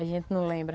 A gente não lembra.